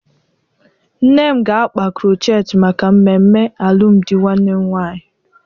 Nne m ga-akpa krochet maka mmemme alụmdi nwanne m nwaanyị.